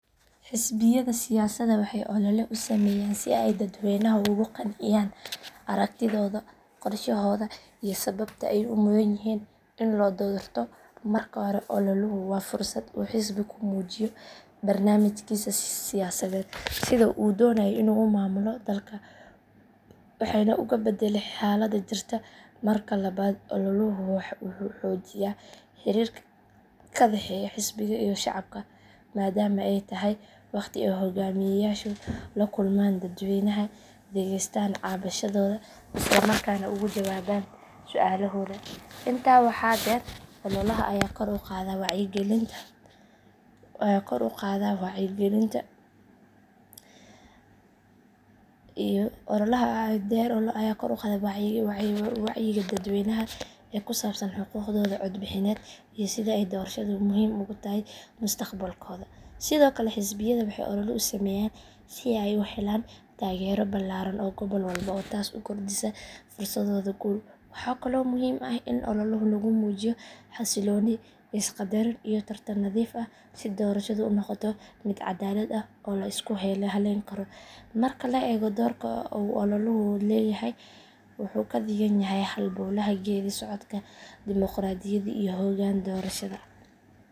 Xisbiyada siyaasadda waxay ol’ole u sameeyaan si ay dadweynaha ugu qanciyaan aragtidooda, qorshahooda iyo sababta ay u mudan yihiin in loo doorto. Marka hore ol’oluhu waa fursad uu xisbi ku muujiyo barnaamijkiisa siyaasadeed, sida uu u doonayo inuu u maamulo dalka, waxna uga beddelo xaaladda jirta. Marka labaad ol’oluhu wuxuu xoojiyaa xiriirka ka dhexeeya xisbiga iyo shacabka maadaama ay tahay wakhti ay hoggaamiyeyaashu la kulmaan dadweynaha, dhageystaan cabashadooda, isla markaana uga jawaabaan su’aalahooda. Intaa waxaa dheer ol’olaha ayaa kor u qaada wacyiga dadweynaha ee ku saabsan xuquuqdooda codbixineed iyo sida ay doorashadu muhiim ugu tahay mustaqbalkooda. Sidoo kale xisbiyada waxay ol’ole u sameeyaan si ay u helaan taageero ballaaran oo gobol walba ah taas oo kordhisa fursadooda guul. Waxaa kaloo muhiim ah in ol’olaha lagu muujiyo xasilooni, is qaddarin iyo tartan nadiif ah si doorashadu u noqoto mid caddaalad ah oo la isku halleyn karo. Marka la eego doorka uu ol’oluhu leeyahay, wuxuu ka dhigan yahay halbowlaha geedi socodka dimoqraadiyadda iyo hoggaan doorashada.